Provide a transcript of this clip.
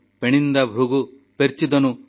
ପେଣଣିନ୍ଦା Bhrigu ପେର୍ଚିଦନୁ